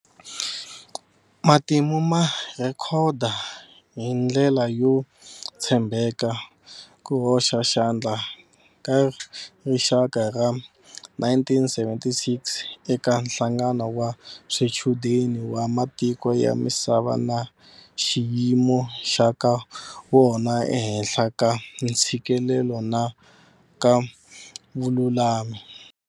Matimu ma rhekhoda hi ndlela yo tshembeka ku hoxa xandla ka rixaka ra 1976 eka nhlangano wa swichudeni wa matiko ya misava na xiyimo xa ka wona ehenhla ka ntshikelelo na ka vululami.